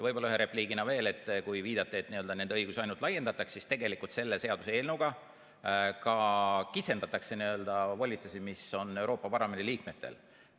Võib-olla ühe repliigina veel, kui viidata, et nende õigusi ainult laiendatakse, siis tegelikult selle seaduseelnõuga ka kitsendatakse volitusi, mis on Euroopa Parlamendi liikmetel.